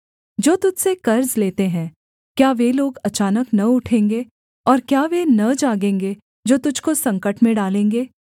जो तुझ से कर्ज लेते हैं क्या वे लोग अचानक न उठेंगे और क्या वे न जागेंगे जो तुझको संकट में डालेंगे